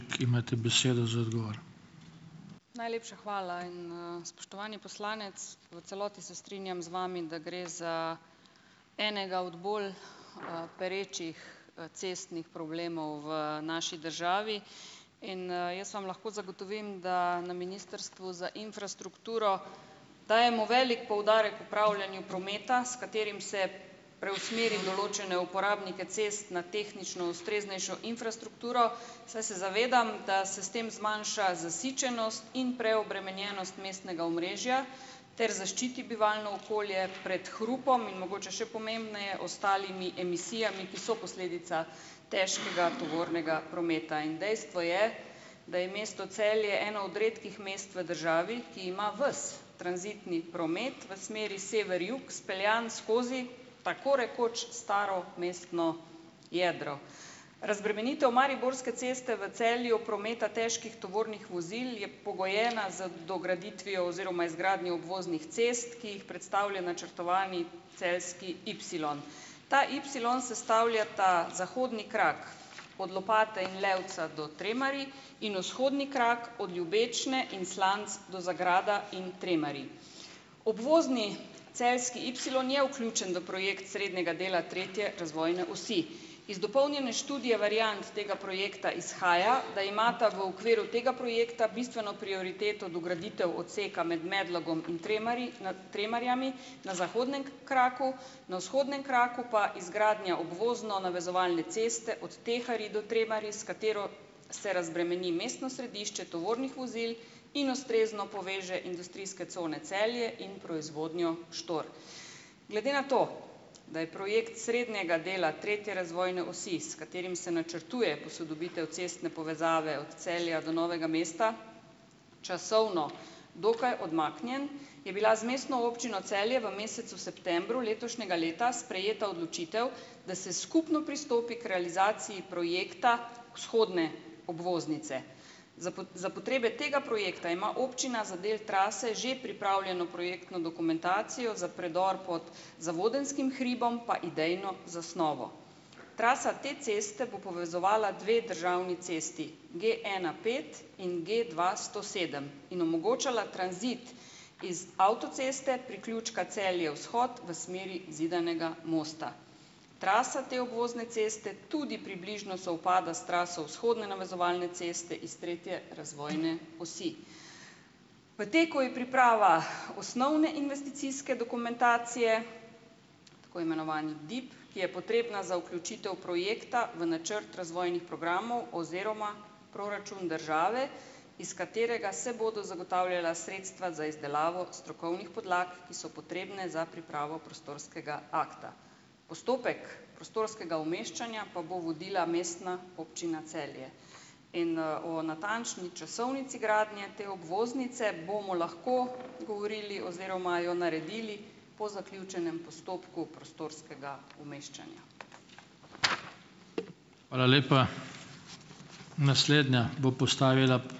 Najlepša hvala. In, spoštovani poslanec! V celoti se strinjam z vami, da gre za enega od bolj, perečih, cestnih problemov v naši državi. In, jaz vam lahko zagotovim, da na ministrstvu za infrastrukturo dajemo veliko poudarek upravljanju prometa, s katerim se preusmeri določene uporabnike cest na tehnično ustreznejšo infrastrukturo, saj se zavedam, da se s tem zmanjša zasičenost in preobremenjenost mestnega omrežja ter zaščiti bivalno okolje pred hrupom in mogoče še pomembneje, ostalimi emisijami, ki so posledica težkega tovornega prometa. In dejstvo je, da je mesto Celje eno od redkih mest v državi, ki ima ves tranzitni promet v smeri sever-jug speljan skozi, tako rekoč, staro mestno jedro. Razbremenitev Mariborske ceste v Celju prometa težkih tovornih vozil je pogojena z dograditvijo oziroma izgradnjo obvoznih cest, ki jih predstavlja načrtovani celjski ipsilon. Ta ipsilon sestavljata zahodni krak od Lopate in Levca do Tremerij in vzhodni krak od Ljubečne in Slanc do Zagrada in Tremerij. Obvozni celjski ipsilon je vključen v projekt srednjega dela tretje razvojne osi. Iz dopolnjene študije variant tega projekta izhaja, da imata v okviru tega projekta bistveno prioriteto dograditev odseka med Medlogom in Tremerji, nad Tremerjami na zahodnem kraku, na vzhodnem kraku pa izgradnja obvozno-navezovalne ceste od Teharij do Tremerij, s katero se razbremeni mestno središče tovornih vozil in ustrezno poveže industrijske cone Celje in proizvodnjo Štor. Glede na to, da je projekt srednjega dela tretje razvojne osi, s katerim se načrtuje posodobitev cestne povezave od Celja do Novega mesta, časovno dokaj odmaknjen, je bila z Mestno občino Celje v mesecu septembru letošnjega leta sprejeta odločitev, da se skupno pristopi k realizaciji projekta vzhodne obvoznice. za potrebe tega projekta ima občina za del trase že pripravljeno projektno dokumentacijo, za predor pod Zavodenskim hribom pa idejno zasnovo. Trasa te ceste bo povezovala dve državni cesti, Genapet in Gdvasto sedem, in omogočala tranzit iz avtoceste, priključka Celje - vzhod v smeri Zidanega Mosta. Trasa te obvozne ceste tudi približno sovpada s traso vzhodne navezovalne ceste iz tretje razvojne osi. V teku je priprava osnovne investicijske dokumentacije, tako imenovani DIP, ki je potrebna za vključitev projekta v načrt razvojnih programov oziroma proračun države, iz katerega se bodo zagotavljala sredstva za izdelavo strokovnih podlag, ki so potrebne za pripravo prostorskega akta. Postopek prostorskega umeščanja pa bo vodila Mestna občina Celje. In, o natančni časovnici gradnje te obvoznice bomo lahko govorili oziroma jo naredili po zaključenem postopku prostorskega umeščanja.